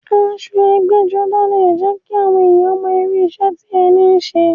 Aṣọ ẹgbẹ́-jọdá leè jẹ́ kí àwọn èèyàn mọ irú iṣẹ́ tí ẹni ń ṣe.